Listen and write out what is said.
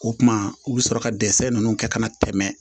O kuma u bɛ sɔrɔ ka dɛsɛ ninnu kɛ ka na tɛmɛ